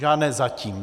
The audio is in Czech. Žádné zatím.